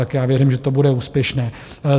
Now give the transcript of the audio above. Tak já věřím, že to bude úspěšné.